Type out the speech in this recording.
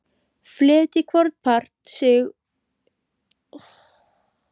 Fletjið hvorn part um sig út í lengju.